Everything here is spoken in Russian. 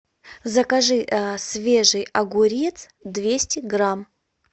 закажи свежий огурец двести грамм